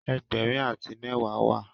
Egberin ati mewa wá